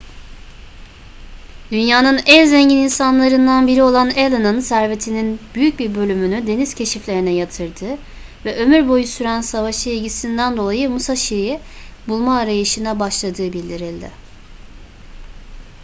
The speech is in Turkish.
dünyanın en zengin insanlarından biri olan allen'ın servetinin büyük bir bölümünü deniz keşiflerine yatırdığı ve ömür boyu süren savaşa ilgisinden dolayı musashi'yi bulma arayışına başladığı bildirildi